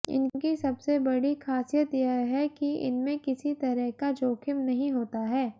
इनकी सबसे बड़ी खासियत यह है कि इनमें किसी तरह का जोखिम नहीं होता है